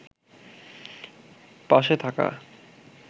পাশে থাকা